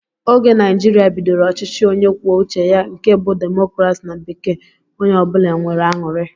Oge Naijiria bidoro ọchịchị onye kwuo uche ya nke bú democracy na bekee onye ọbula nwèrè añụrị